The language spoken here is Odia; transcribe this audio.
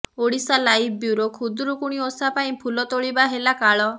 ଓଡ଼ିଶାଲାଇଭ ବ୍ୟୁରୋ ଖୁଦୁରୁକୁଣି ଓଷା ପାଇଁ ଫୁଲ ତୋଳିବା ହେଲା କାଳ